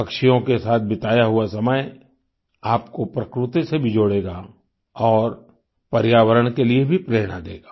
पक्षियों के साथ बिताया हुआ समय आपको प्रकृति से भी जोड़ेगा और पर्यावरण के लिए भी प्रेरणा देगा